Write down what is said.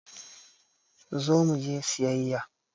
Zo muje siyayya!